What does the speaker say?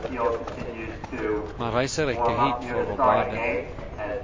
Man reiser ikke hit for å bade.